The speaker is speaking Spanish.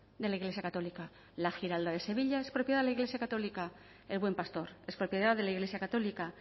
de la iglesia católica la giralda de sevilla es propiedad de la iglesia católica el buen pastor es propiedad de la iglesia católica